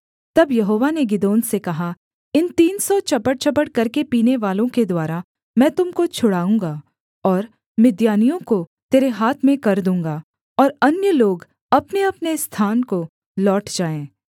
तब यहोवा ने गिदोन से कहा इन तीन सौ चपड़चपड़ करके पीनेवालों के द्वारा मैं तुम को छुड़ाऊँगा और मिद्यानियों को तेरे हाथ में कर दूँगा और अन्य लोग अपनेअपने स्थान को लौट जाए